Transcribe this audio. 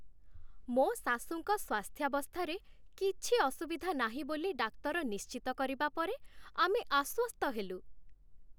ମୋ ଶାଶୂଙ୍କ ସ୍ଵାସ୍ଥ୍ୟାବସ୍ଥାରେ କିଛି ଅସୁବିଧା ନାହିଁ ବୋଲି ଡାକ୍ତର ନିଶ୍ଚିତ କରିବା ପରେ, ଆମେ ଆଶ୍ୱସ୍ତ ହେଲୁ।